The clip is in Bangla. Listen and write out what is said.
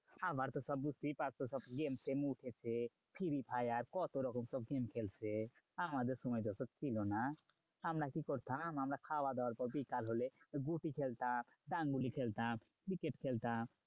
খাবার তো সব বুঝতেই পারছো সব game টেম উঠেছে। ফ্রি ফায়ার কতরকম সব game খেলছে আমাদের সময় তো ওসব ছিল না। আমরা কি করতাম? আমরা খাওয়া দাওয়ার পর বিকাল হলে গুটি খেলতাম, ড্যাঙ্গুলি খেলতাম, cricket খেলতাম